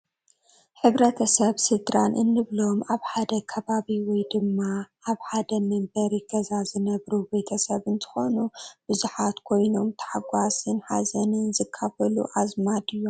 ሕ/ሰብ ስድራን እንብሎም ኣብ ሓደ ከባቢ ወይ ድማ ኣብ ሓደ መንበሪ ገዛ ዝነብሩ ቤተሰብ እንትኾኑ ብሓባር ኮይኖም ታሕጓስን ሓዘንን ዝካፈሉ ኣዝማድ እዮም፡፡